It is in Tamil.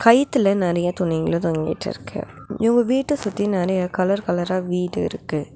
கயித்துல நெறைய துணிங்கலு தொங்கிட்ருக்கு இவங்க வீட்ட சுத்தி நெறைய கலர் கலரா வீடு இருக்கு.